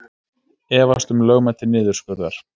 Efast um lögmæti niðurskurðar